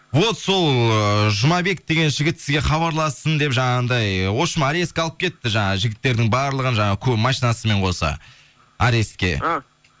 вот сол ыыы жұмабек деген жігіт сізге хабарлассын деп жаңағындай вообщем арестке алып кетті жаңағы жігіттердің барлығын жаңағы машинасымен қоса арестке